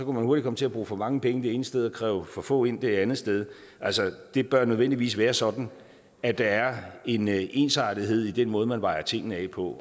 man hurtigt komme til at bruge for mange penge det ene sted og kræve for få ind det andet sted altså det bør nødvendigvis være sådan at der er en ensartethed i den måde man vejer tingene af på